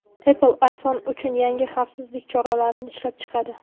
Apple iPhone uchun yangi xavfsizlik choralarini ishlab chiqadi.